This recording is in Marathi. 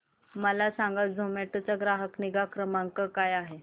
मला सांगा झोमॅटो चा ग्राहक निगा क्रमांक काय आहे